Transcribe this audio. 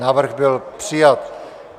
Návrh byl přijat.